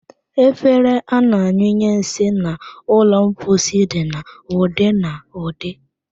Efere a na-anyụnye nsị n'ụlọ mposi dị n'ụdị n'ụdị